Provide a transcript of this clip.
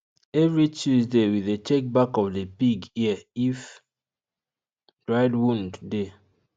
every tuesday we dey check back of the pig ear if dried wound dey